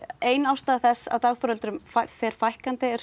ein ástæða þess að dagforeldrum fer fækkandi er